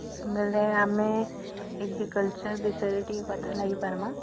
ବେଳେ ଆମେ Agriculture ବିଷୟରେ ଟିକେ କଥା ଲାଗି ପାରିବା?